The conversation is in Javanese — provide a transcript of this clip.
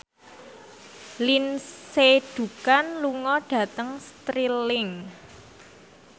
Lindsay Ducan lunga dhateng Stirling